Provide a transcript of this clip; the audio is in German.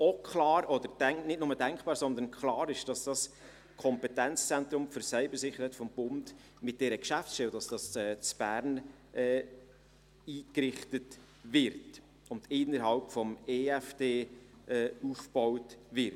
Nicht nur denkbar, sondern klar ist hingegen, dass das Kompetenzzentrum für Cybersicherheit des Bundes mit dieser Geschäftsstelle in Bern eingerichtet und innerhalb des EFD aufgebaut wird.